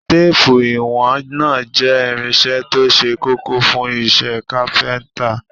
Téépù ìwọ̀n náà jẹ́ irinṣẹ́ tó ṣe kókó fún iṣẹ́ kápẹ́ńtà.